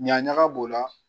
Ɲa ɲaga b'o la.